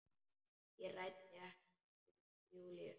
Ég ræddi ekkert við Júlíu.